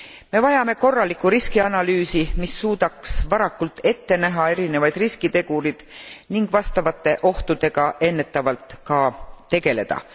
Me vajame korralikku riskianalüüsi, mis suudaks varakult ette näha erinevaid riskitegureid ning vastavate ohtudega ennetavalt ka tegeleda.